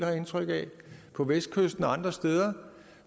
jeg indtryk af på vestkysten og andre steder